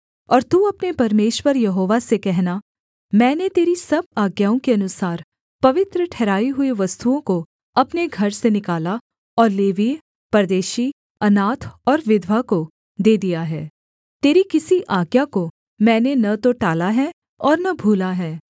और तू अपने परमेश्वर यहोवा से कहना मैंने तेरी सब आज्ञाओं के अनुसार पवित्र ठहराई हुई वस्तुओं को अपने घर से निकाला और लेवीय परदेशी अनाथ और विधवा को दे दिया है तेरी किसी आज्ञा को मैंने न तो टाला है और न भूला है